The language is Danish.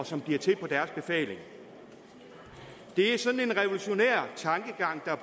som bliver til på deres befaling det er sådan en revolutionær tankegang